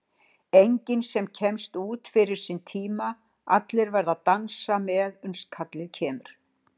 Enginn sem kemst út fyrir sinn tíma, allir verða að dansa með uns kallið kemur.